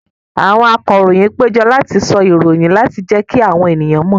Àwọn akọròyìn péjọ láti sọ ìròyìn láti jẹ́kí àwọn èèyàn mọ̀